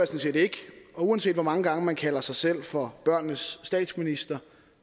set ikke og uanset hvor mange gange man kalder sig selv for børnenes statsminister